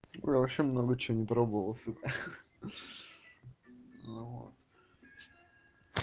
я вообще много что не пробовал сука хи-хи ну вот